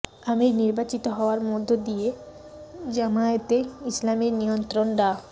আমির নির্বাচিত হওয়ার মধ্য দিয়ে জামায়াতে ইসলামীর নিয়ন্ত্রণ ডা